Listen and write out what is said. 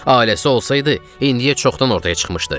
Ailəsi olsaydı, indiyə çoxdan ortaya çıxmışdı.